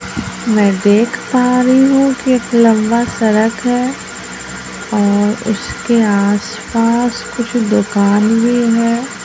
मैं देख पा रही हूं कि एक लंबा सड़क है और उसके आस पास कुछ दुकान भी है।